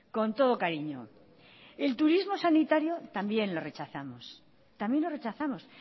con todo cariño el turismo sanitario también lo rechazamos también lo rechazamos